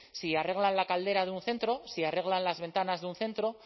si arreglan la caldera de un centro si arreglan las ventanas de un centro